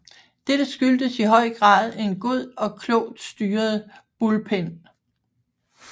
Dette skyldtes i høj grad en god og klogt styret bullpen